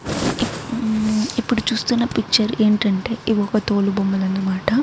ఇప్పుడు చూస్తున్న పిక్చర్ ఏంటంటే ఇవి ఒక తోలు బొమ్మలు అనమాట.